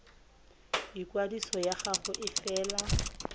ikwadiso ya gago e fela